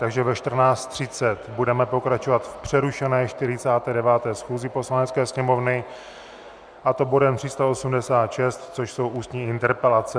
Takže ve 14.30 budeme pokračovat v přerušené 49. schůzi Poslanecké sněmovny, a to bodem 386, což jsou ústní interpelace.